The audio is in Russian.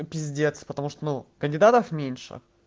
пиздец потому что ну кандидатов меньше